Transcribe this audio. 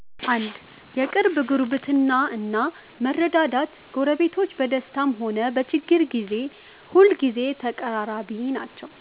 1. የቅርብ ጉርብትና እና መረዳዳት ጎረቤቶች በደስታም ሆነ በችግር ጊዜ ሁልጊዜ ተቀራራቢ ናቸው።